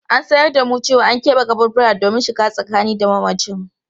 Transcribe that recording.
An sanar da mu cewa an kebe kaburbura domin shiga tsakani da mamacin.